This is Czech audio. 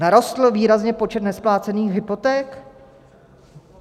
Narostl výrazně počet nesplácených hypoték?